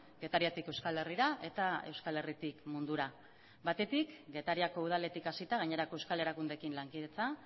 getariatik euskal herrira eta euskal herritik mundura batetik getariako udaletik hasita gainerako euskal erakundeekin lankidetza